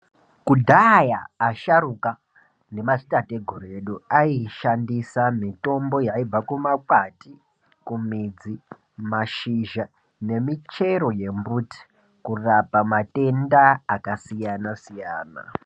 Kudhaya asharuka nema dzitateguru ayishandisa mitombo yaibva kuma kwati kumidzi mashizha nemuchero yemuti kurape matenda akasiyana siyana.